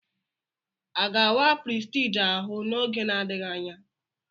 A ga-awa Prestige ahụ n'oge n'adịghị anya?